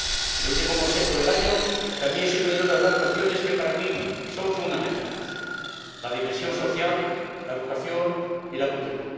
En el último Consejo Europeo del año también se pudieron tratar cuestiones que para mí son fundamentales la dimensión social, la educación y la cultura.